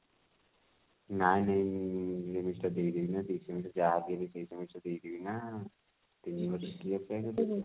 ନାଇଁ ଉଁ semester ଟା ଦେଇଦେବି ନା fifth semester ଯାହା ବି ହେଲେ fifth semester ଦେଇଦେବି ନା ତିନି ବର୍ଷ କିଏ ଅପେକ୍ଷା କରିବ